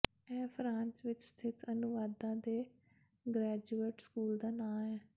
ਇਹ ਫਰਾਂਸ ਵਿੱਚ ਸਥਿਤ ਅਨੁਵਾਦਕਾਂ ਦੇ ਗ੍ਰੈਜੂਏਟ ਸਕੂਲ ਦਾ ਨਾਮ ਹੈ